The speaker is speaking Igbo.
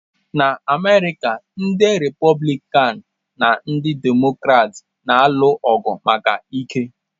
Na America, ndị Republican na ndị Democrats na-alụ ọgụ maka ike.